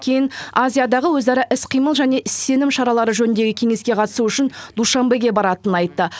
кейін азиядағы өзара іс қимыл және сенім шаралары жөніндегі кеңеске қатысу үшін душанбеге баратынын айтты